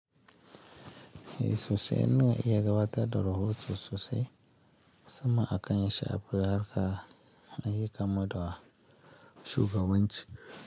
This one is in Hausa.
Eh sosai, ina iya gabatar da rahoto sosai musamman hakan ya shafi harka ayyukan mu da shugabanci.